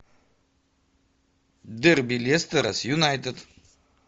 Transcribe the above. дерби лестера с юнайтед